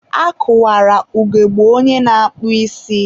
a kụwara ugogbe onye na-akpụ isi.